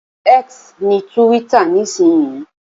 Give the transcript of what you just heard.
X ni túwítà nísinsìnyí